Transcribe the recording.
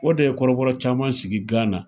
O de ye kɔrɔbɔ caman sigi Gana